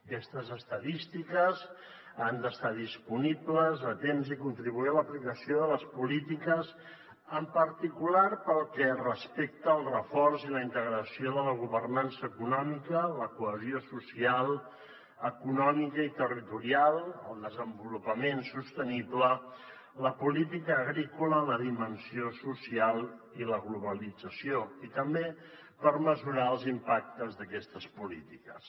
aquestes estadístiques han d’estar disponibles a temps i contribuir a l’aplicació de les polítiques en particular pel que respecte al reforç i la integració de la governança econòmica la cohesió social econòmica i territorial el desenvolupament sostenible la política agrícola la dimensió social i la globalització i també per mesurar els impactes d’aquestes polítiques